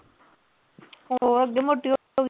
ਹੋਰ ਜੇ ਮੋਟੀ ਹੋ ਗਈ,